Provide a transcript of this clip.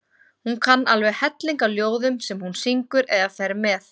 Hún kann alveg helling af ljóðum sem hún syngur eða fer með.